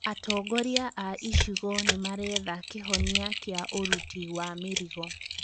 Atongoria a icigo nĩmaretha kĩhonia kĩa ũruti wa mĩrigo